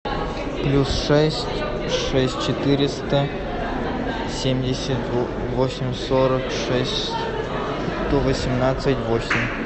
плюс шесть шесть четыреста семьдесят восемь сорок шесть сто восемнадцать восемь